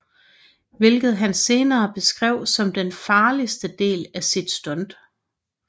Hvilket han senere beskrev som den farligste del af sit stunt